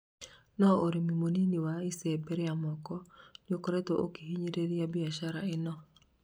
no ũrĩmi mũnini wa icembe ria moko nĩũkoretwo ũkihinyĩrĩria biashara ĩno.